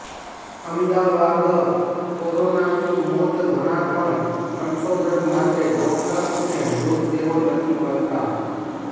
અમદાવાદઃ કોરોનાથી મોત ઘણા પણ સંશોધન માટે ડોક્ટર્સને મૃતદેહો નથી મળતા